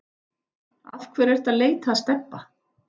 Af hverju ertu að leita að Stebba